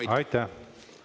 Teie aeg!